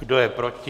Kdo je proti?